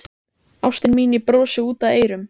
Ástin mín, ég brosi út að eyrum.